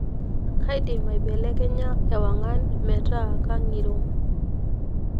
kaidim aibelekenya ewangan ,meeta kangiro